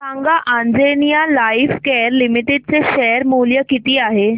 सांगा Anjaneya Lifecare Limited चे share मूल्य किती आहे